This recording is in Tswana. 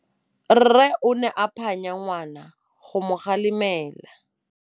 Rre o ne a phanya ngwana go mo galemela.